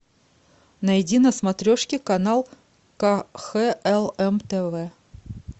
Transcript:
найди на смотрешке канал кхлм тв